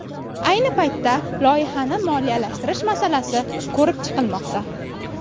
Ayni paytda loyihani moliyalashtirish masalasi ko‘rib chiqilmoqda.